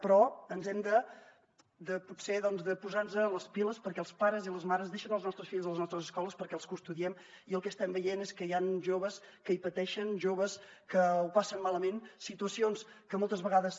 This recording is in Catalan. però hem de potser posar nos les piles perquè els pares i les mares deixen els nostres fills a les nostres escoles perquè els custodiem i el que estem veient és que hi han joves que hi pateixen joves que ho passen malament situacions que moltes vegades